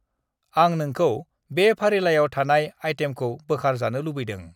आं नोंखौ बे फारिलाइआव थानाय आइतेमखौ बोखार जानो लुबैदोँ।